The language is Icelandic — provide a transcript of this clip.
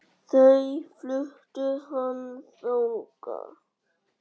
Þá flutti hann þangað.